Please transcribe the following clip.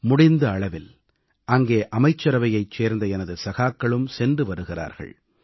முடிந்த அளவில் அங்கே அமைச்சரவையைச் சேர்ந்த எனது சகாக்களும் சென்று வருகிறார்கள்